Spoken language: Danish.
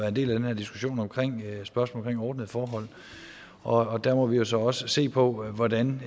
en del af den her diskussion om spørgsmålet om ordnede forhold og der må vi så også se på hvordan